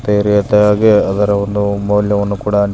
ಬೇರೆ ತಾರಾಗೆ ಅದರ ಒಂದು ಮೌಲ್ಯವನ್ನು ಕೂಡ ಅಂಟಿ --